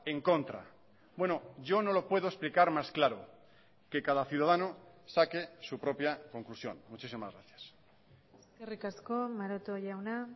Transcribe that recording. en contra bueno yo no lo puedo explicar más claro que cada ciudadano saque su propia conclusión muchísimas gracias eskerrik asko maroto jauna